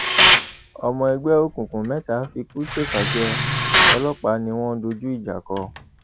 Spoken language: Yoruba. ọmọ ẹgbẹ òkùnkùn mẹta fikú ṣèfà jẹ ọlọpàá ni wọn dojú ìjà kọ